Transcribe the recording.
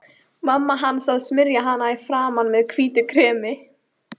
Mamma hans að smyrja hana í framan með hvítu kremi.